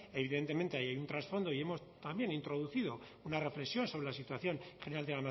evidentemente ahí hay un trasfondo y hemos también introducido una reflexión sobre la situación general de